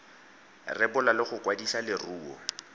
rebola le go kwadisa leruo